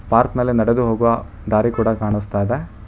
Park ಮೇಲೆ ನಡೆದು ಹೋಗುವ ದಾರಿ ಕೂಡ ಕಾಣಿಸ್ತಿದೆ.